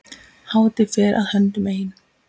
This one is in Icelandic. Hátíð fer að höndum ein.